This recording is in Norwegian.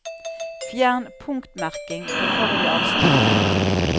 Fjern punktmerking på forrige avsnitt